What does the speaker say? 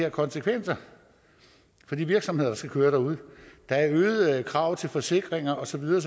af konsekvenser for de virksomheder der skal køre derude der er øgede krav til forsikringer og så videre